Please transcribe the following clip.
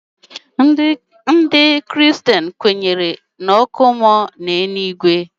Ndị kristen kwenyere n'ọkụ mmụọ na eluigwe.